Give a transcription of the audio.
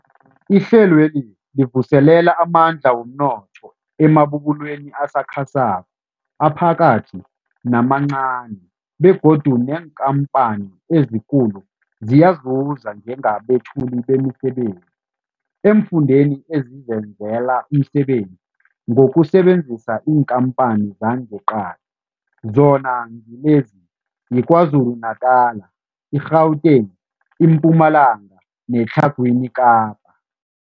Ihlelweli livuselela amandla womnotho emabubulweni asakhasako, aphakathi namancani begodu neenkhamphani ezikulu ziyazuza njengabethuli bemisebenzi eemfundeni ezizenzela umsebenzi ngokusebenzisa iinkhamphani zangeqadi, zona ngilezi, yiKwaZulu-Natala, i-Gauteng, iMpumalanga neTlhagwini Kapa.